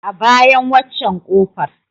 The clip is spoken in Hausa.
A bayan waccen ƙofar.